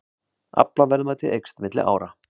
Aflaverðmæti eykst milli ára